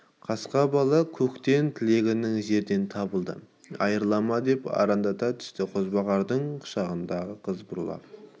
қасқа бала көктен тілегенің жерден табылды айрылма деп арандата түсті қозбағардың құшағындағы қыз бұралып